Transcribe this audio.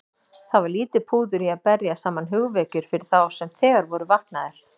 Það var lítið púður í að berja saman hugvekjur fyrir þá sem þegar voru vaknaðir.